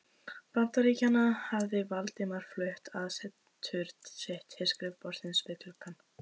Bandaríkjanna, hafði Valdimar flutt aðsetur sitt til skrifborðsins við gluggann.